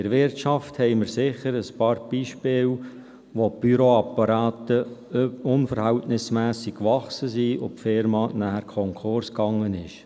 In der Wirtschaft gibt es sicher ein paar Beispiele, wo die Büroapparate unverhältnismässig gewachsen sind und die Firma nachher Konkurs gegangen ist.